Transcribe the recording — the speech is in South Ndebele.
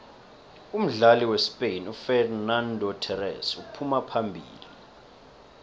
umdlali wespain ufexenando thorese uphuma phambili